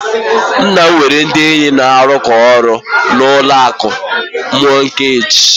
Nna m nwere ndị enyi na-arụkọ ọrụ na ụlọ akụ mọọgeeji.